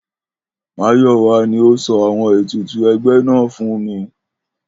Máyò̩wá ni ó so̩ àwo̩n ètùtù e̩gbé̩ náà fún mi